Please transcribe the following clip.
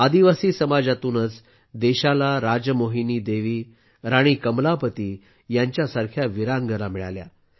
आदिवासी समाजातूनच देशाला राजमोहिनी देवी राणी कमलापती यांसारख्या वीरांगना मिळाल्या